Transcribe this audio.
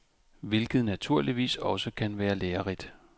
Hvilket naturligvis også kan være lærerigt.